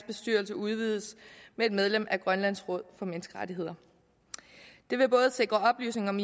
bestyrelse udvides med et medlem udpeget af grønlands råd for menneskerettigheder det vil både sikre oplysning om